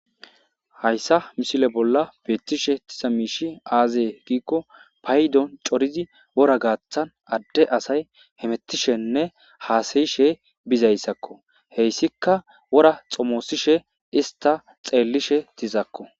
hayssa misile bolla beettishe diza miishi aazee giikko paydon coridi wora gaaththan adde asay hemettishenne haasayishe bizayssakko, heyssika wora xomosishe ista xeellishe dizakko